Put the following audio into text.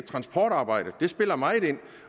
transportarbejdet det spiller meget ind